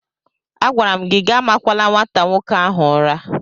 Agwara m gị amakwala nwata nwoke ahụ ụra!